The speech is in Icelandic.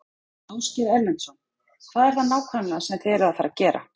Ásgeir Erlendsson: Hvað er það nákvæmlega sem þið eruð að fara gera?